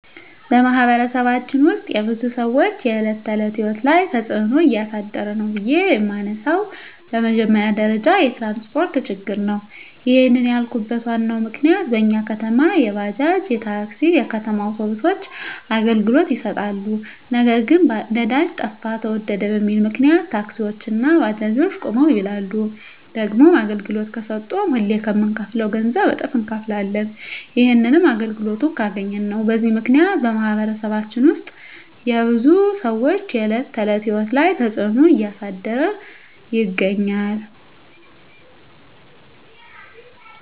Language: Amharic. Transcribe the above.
በማኅበረሰባችን ውስጥ የብዙ ሰዎች የዕለት ተዕለት ሕይወት ላይ ትጽእኖ እያሳደረ ነው ብዬ የመነሣው በመጀመሪያ ደረጃ የትራንስፓርት ችግር ነው። ይህንን ያልኩበት ዋናው ምክንያት በኛ ከተማ የባጃጅ፣ የታክሲ፣ የከተማ አውቶቢሶች አገልግሎት ይሠጣሉ። ነገር ግን ነዳጅ ጠፋ ተወደደ በሚል ምክንያት ታክሲዎች እና ባጃጆች ቁመው ይውላሉ። ደግሞም አገልግሎት ከሠጡም ሁሌ ከምንከፍለው ገንዘብ እጥፍ እነከፍላለን። ይህንንም አገልግሎቱን ካገኘን ነው። በዚህ ምክንያት በማኅበረሰባችን ውስጥ የብዙ ሰዎች የዕለት ተዕለት ሕይወት ላይ ትጽእኖ እያሳደረ ይገኛል።